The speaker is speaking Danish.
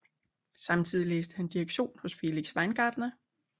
Samtidig læste han direktion hos Felix Weingartner